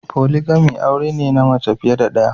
polygamy aure ne na mace fiye da daya.